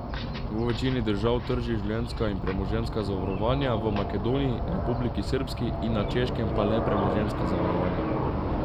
V večini držav trži življenjska in premoženjska zavarovanja, v Makedoniji, Republiki srbski in na Češkem pa le premoženjska zavarovanja.